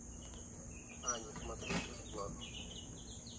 ани смотреть бесплатно